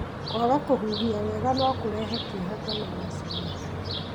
Kwaga kũhuhia wega no kũrehe kieha kana wasiwasi.